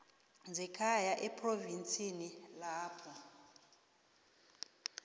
zekhaya ephrovinsini lapho